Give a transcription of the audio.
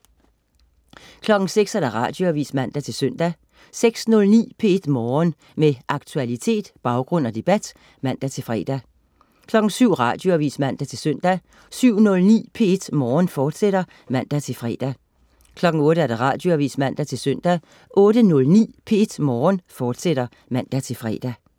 06.00 Radioavis (man-søn) 06.09 P1 Morgen. Med aktualitet, baggrund og debat (man-fre) 07.00 Radioavis (man-søn) 07.09 P1 Morgen, fortsat (man-fre) 08.00 Radioavis (man-søn) 08.09 P1 Morgen, fortsat (man-fre)